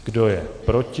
Kdo je proti?